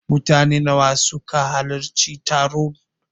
Mutane nawa ne suka halarci taron?